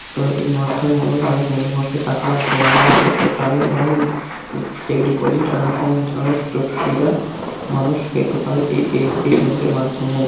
তো এই মাধ্যম অনেক টাকা জমা দেওয়া নেওয়া করতে পারে এবং ফিক্সড ডিপোজিট এরকম ধরনের সুযোগ সুবিধা মানুষ পেতে পারে এই এস.বি.আই ব্যাংক এর মাধ্যমে ।